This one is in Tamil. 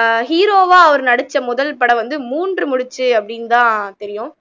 ஆஹ் hero வா அவரு நடிச்ச முதல் படம் வந்து மூன்று முடிச்சு அப்படின்னு தான் தெரியும்